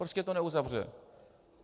Prostě to neuzavře.